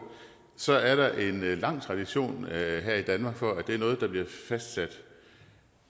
så er der en lang tradition her i danmark for at det er noget der bliver fastsat